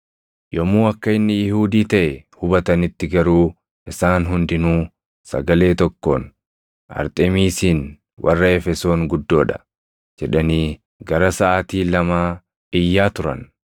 Yommuu akka inni Yihuudii taʼe hubatanitti garuu isaan hundinuu sagalee tokkoon, “Arxemiisiin warra Efesoon guddoo dha!” jedhanii gara saʼaatii lamaa iyyaa turan.